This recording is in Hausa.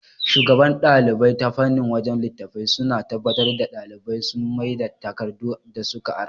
Shugaban ɗalibai ta fannin wajan littatafai suna tabbatar da ɗalibai sun maida takardu da suka ara